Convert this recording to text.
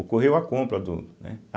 Ocorreu a compra do, né.